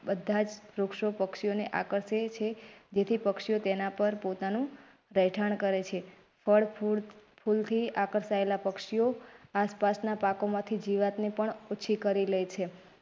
બધાજ વૃક્ષો પક્ષીઓને આકર્ષે છે જેથી પક્ષીઓ તેનાં પર પોતાનું રહેઠાણ કરેં છે. ફળ ફૂલ ફૂલથી આકર્ષાયેલા પક્ષીઓ આસપાસના પાકો માંથી જીવાતને પણ ઓછી કરી લે છે.